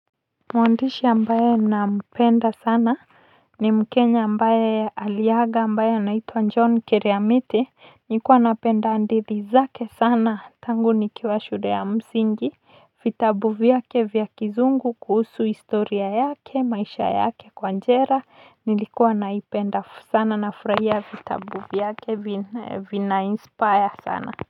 Mwandishi ambaye nampenda sana ni mkenya ambaye aliaga ambaye anaitwa John Kiriamiti, nilikuwa napenda hadithi zake sana tangu nikiwa shule ya msingi vitabu vyake vya kizungu kuhusu historia yake, maisha yake kwa jela nilikuwa naipenda sana nafurahia vitabu vyake vina inspire sana.